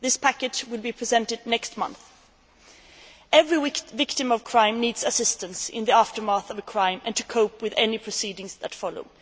This package will be presented next month. Every victim of crime needs assistance in the aftermath of a crime and to cope with any proceedings that follow.